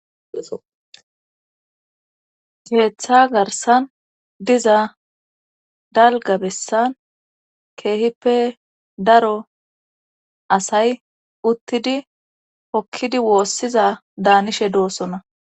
keeththa garsan diza dalga bessan keehippe daro asay uttidi hokkidi woossiza daanishe doossona.